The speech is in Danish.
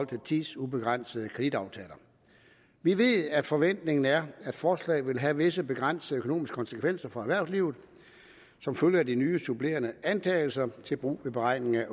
til tidsubegrænsede kreditaftaler vi ved at forventningen er at forslaget vil have visse begrænsede økonomiske konsekvenser for erhvervslivet som følge af de nye supplerende antagelser til brug ved beregningen